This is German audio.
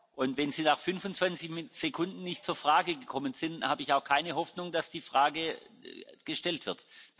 Und wenn Sie nach 25 Sekunden nicht zur Frage gekommen sind, habe ich auch keine Hoffnung, dass die Frage gestellt wird.